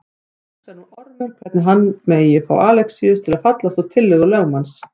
Hugsar nú Ormur hvernig hann megi fá Alexíus til að fallast á tillögur lögmanns.